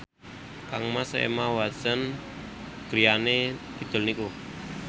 kangmas Emma Watson griyane kidul niku